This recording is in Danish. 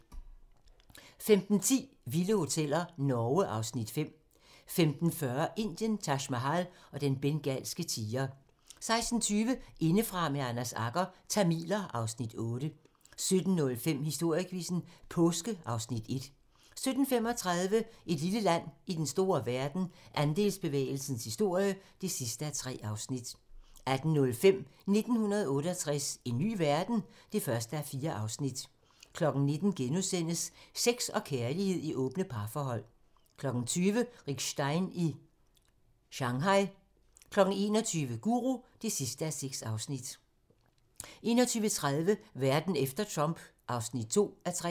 15:10: Vilde hoteller - Norge (Afs. 5) 15:40: Indien - Taj Mahal og den bengalske tiger 16:20: Indefra med Anders Agger - Tamiler (Afs. 8) 17:05: Historiequizzen: Påske (Afs. 1) 17:35: Et lille land i den store verden - Andelsbevægelsens historie (3:3) 18:05: 1968 - en ny verden? (1:4) 19:00: Sex og kærlighed i åbne parforhold * 20:00: Rick Stein i Shanghai 21:00: Guru (6:6) 21:30: Verden efter Trump (2:3)